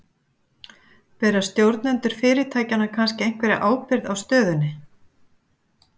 Bera stjórnendur fyrirtækjanna kannski einhverja ábyrgð á stöðunni?